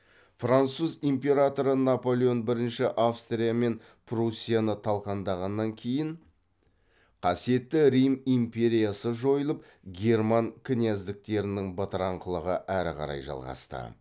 француз императоры наполеон бірінші австрия мен прусияны талқандағаннан кейін қасиетті рим империясы жойылып герман князьдіктерінің бытыраңқылығы әрі қарай жалғасты